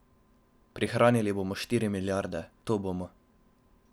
Prihranili bomo štiri milijarde, to bomo.